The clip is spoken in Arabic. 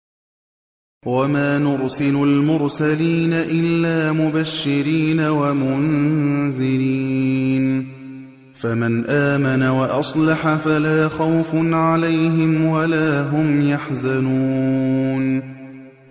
وَمَا نُرْسِلُ الْمُرْسَلِينَ إِلَّا مُبَشِّرِينَ وَمُنذِرِينَ ۖ فَمَنْ آمَنَ وَأَصْلَحَ فَلَا خَوْفٌ عَلَيْهِمْ وَلَا هُمْ يَحْزَنُونَ